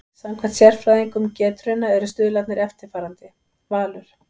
Samkvæmt sérfræðingum Getrauna eru stuðlarnir eftirfarandi: Valur